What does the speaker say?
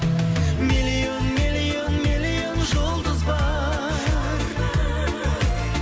миллион миллион миллион жұлдыз бар